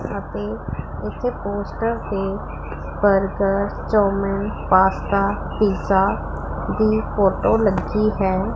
ਅਤੇ ਇੱਥੇ ਪੋਸਟਰ ਤੇ ਬਰਗਰਸ ਚਾਉਮੀਨ ਪਾਸਤਾ ਪੀਜ਼ਾ ਦੀ ਫੋਟੋ ਲੱਗੀ ਹੈ।